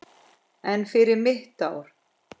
En fyrir mitt ár?